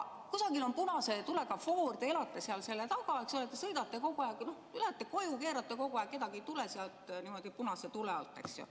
Kusagil on punase tulega foor, te elate seal, sõidate seal kogu aeg, tahate kodu poole keerata, kedagi ei tule, keerate punase tule alt.